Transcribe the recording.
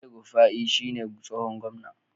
El-rufai shi ne tsohon gwamna.